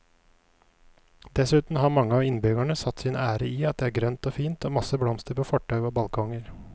Dessuten har mange av innbyggerne satt sin ære i at det er grønt og fint og masse blomster på fortau og balkonger.